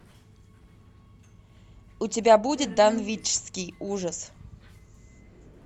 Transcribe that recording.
у тебя будет данвичский ужас